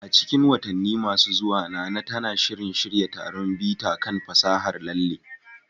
A cikin watanni masu zuwa, Nana tana shirin shirya taron bita kan fasahar lalle